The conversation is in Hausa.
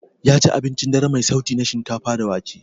Yaci abincin dare mai sauti na shinkafa da wake.